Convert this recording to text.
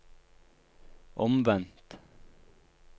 omvendt